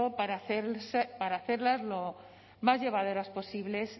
para hacerlas lo más llevaderas posibles